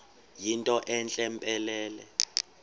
yinto entle mpelele